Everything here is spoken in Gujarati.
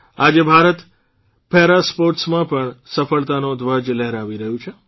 આજે ભારત પેરાસ્પોર્ટસમાં પણ સફળતાના ધ્વજ લહેરાવી રહ્યું છે